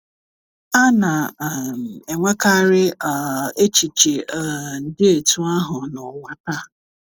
A na - um enwekarị um echiche um dị etu ahụ n’ụwa taa.